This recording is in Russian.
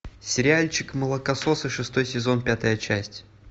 сериальчик молокососы шестой сезон пятая часть